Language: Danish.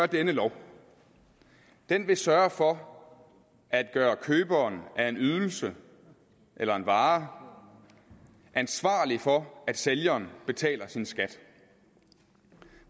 denne lov den vil sørge for at gøre køberen af en ydelse eller en vare ansvarlig for at sælgeren betaler sin skat